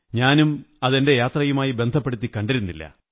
ഞാനും അത് എന്റെ യാത്രയുമായി ബന്ധപ്പെടുത്തി കണ്ടിരുന്നില്ല